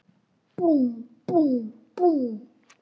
Búmm, búmm, búmm.